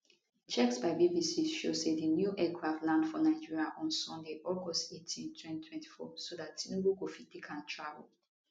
checks by bbc show say di new aircraft land for nigeria on sunday august 18 2024 so dat tinubu go fit take am travel